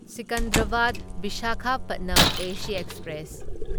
Secunderabad Visakhapatnam AC express